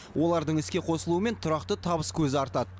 олардың іске қосылуымен тұрақты табыс көзі артады